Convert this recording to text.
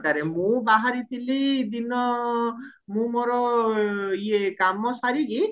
ମୁଁ ବାହାରିଥିଲି ଦିନ ମୁଁ ମୋର ଇଏ କାମ ସାରିକି